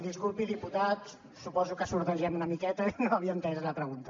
disculpi diputat suposo que sordegem una miqueta i no havia entès la pregunta